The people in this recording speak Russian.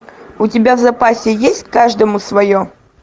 у тебя в запасе есть каждому свое